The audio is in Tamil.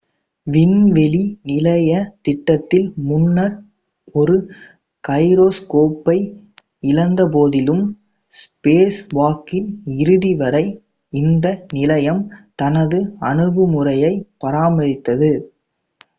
விண்வெளி நிலைய திட்டத்தில் முன்னர் ஒரு கைரோஸ்கோப்பை இழந்தபோதிலும் ஸ்பேஸ்வாக்கின் இறுதி வரை இந்த நிலையம் தனது அணுகுமுறையைப் பராமரித்தது